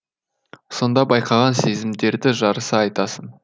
сонда байқаған сезімдерді жарыса айтасың